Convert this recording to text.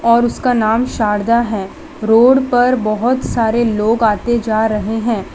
और उसका नाम शारदा है रोड पर बहोत सारे लोग आते जा रहे हैं।